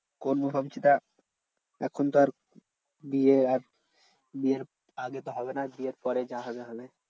করবো ভাবছি তা এখন তো আর বিয়ে আর বিয়ের আগে তো হবে না, বিয়ের পরে যা হবে হবে।